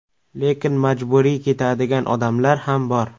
Lekin majburiy ketadigan odamlar ham bor.